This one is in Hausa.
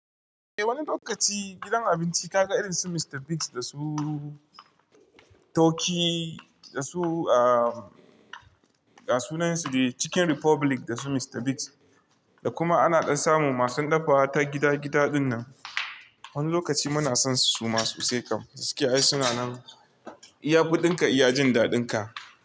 Eh, wani lokaci gidan abinci ka ga irin su Mr Biggs da su Turkey da su, ah, ga sunansu dai chicken republic da su Mr Biggs, da kuma ana ɗan samun masu dafawa ta gida gida dinnan. Wani lokaci muna son su suma su sai kam, gaskiya in suna nan iya kuɗinka iya jin daɗin ka.